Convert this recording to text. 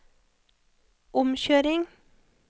omkjøring